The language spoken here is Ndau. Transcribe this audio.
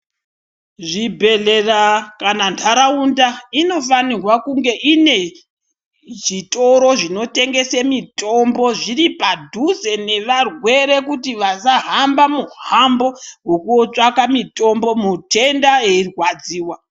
Zvibhedhlera kana ndaraunda inofanirwa kunge inezvitoro zvinotengese mitombo zviri padhuze nevarwere, kuti vasahamba muhambo wokotsvake mutombo mutenda eyirwadziwa.